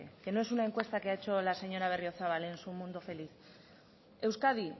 que no es una encuesta que ha hecho la señora berriozabal en su mundo feliz euskadi